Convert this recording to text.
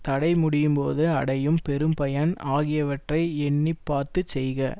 தடை முடியும் போது அடையும் பெரும் பயன் ஆகியவற்றை எண்ணி பார்த்து செய்க